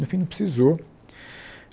no fim, não precisou.